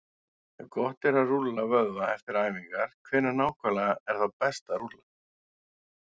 Ef gott er að rúlla vöðva eftir æfingar, hvenær nákvæmlega er þá best að rúlla?